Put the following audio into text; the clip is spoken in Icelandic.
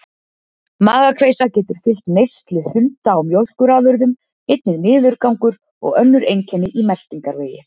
Magakveisa getur fylgt neyslu hunda á mjólkurafurðum, einnig niðurgangur og önnur einkenni í meltingarvegi.